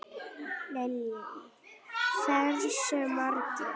Lillý: Hversu margar?